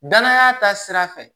Danaya ta sira fɛ